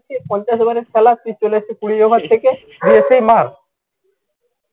সে পঞ্চাশ over এর খেলা সে চলে আসছে কুড়ি over থেকে এসেই মার